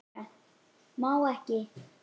Má ekki.